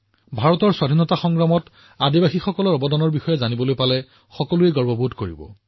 ভাৰতৰ স্বাধীনতা সংগ্ৰামত আমাৰ জনজাতীয় গোটৰ বিশিষ্ট অৱদানৰ বিষয়ে আপুনি যিমানে জানে আপুনি সিমানেই গৌৰৱান্বিত অনুভৱ কৰিব